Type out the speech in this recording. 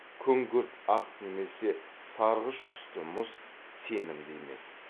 күңгірт ақ немесе сарғыш түсті мұз сенімді емес